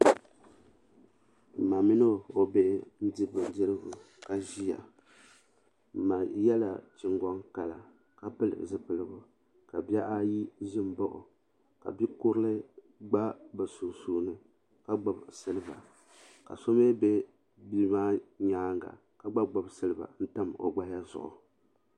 Ma mini o bihi n diri bindirigu ka ʒiya ma yɛla chingoŋ kala ka pili zipiligu ka bihi ayi n ʒia m baɣi o ka bi'kurili gba bɛ sunsuuni ka gbibi siliba ka so mi be bia maa nyaanga ka gba gbibi siliba n tam o gbaya zuɣu.